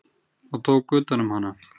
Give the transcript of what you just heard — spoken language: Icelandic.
og tók utan um hana.